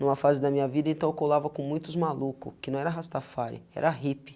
Numa fase da minha vida então eu colava com muitos maluco que não era Rastafari, era hippie.